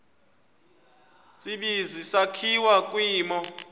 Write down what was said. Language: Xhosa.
tsibizi sakhiwa kwimo